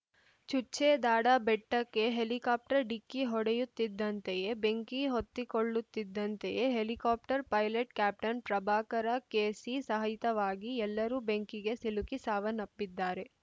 ಚುಚ್ಚೇ ದಾಡಾ ಬೆಟ್ಟಕ್ಕೆ ಹೆಲಿಕಾಪ್ಟರ್‌ ಡಿಕ್ಕಿ ಹೊಡೆಯುತ್ತಿದ್ದಂತೆಯೇ ಬೆಂಕಿ ಹೊತ್ತಿಕೊಳ್ಳುತ್ತಿದ್ದಂತೆಯೇ helicopter pilot captain Prabhakara KC ಸಹಿತವಾಗಿ ಎಲ್ಲರೂ ಬೆಂಕಿಗೆ ಸಿಲುಕಿ ಸಾವನ್ನಪ್ಪಿದ್ದಾರೆ